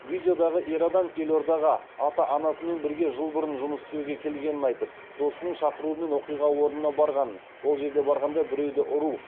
видеодағы ер адам елордаға ата анасымен бірге жыл бұрын жұмыс істеуге келгенін айтып досының шақыруымен оқиға орнынан барғанын ол жерге барғанда біреуді ұру